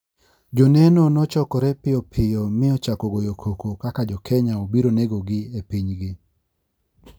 Joneno ne ochokore piyo piyo mi ochako goyo koko kaka jokenya obiro negogi e pinygi.